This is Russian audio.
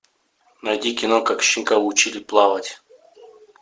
найди кино как щенка учили плавать